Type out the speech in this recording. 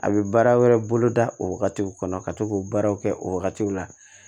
A bɛ baara wɛrɛ bolo da o wagati kɔnɔ ka to k'o baaraw kɛ o wagatiw la